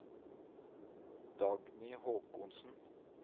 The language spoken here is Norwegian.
Dagny Håkonsen